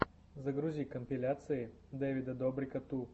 загрузи компиляции дэвида добрика ту